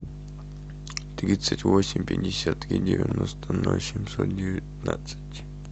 тридцать восемь пятьдесят три девяносто ноль семьсот девятнадцать